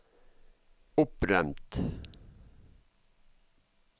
opprømt